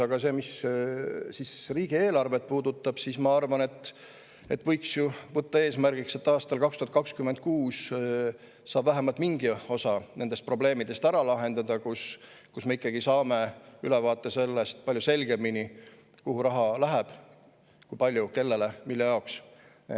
Aga mis riigieelarvet puudutab, siis ma arvan, et võiks ju võtta eesmärgiks, et aastal 2026 saab vähemalt mingi osa nendest probleemidest ära lahendada, nii et me saaksime palju selgema ülevaate sellest, kuhu raha läheb, kui palju, kellele ja mille jaoks.